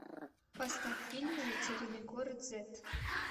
поставь фильм затерянный город зет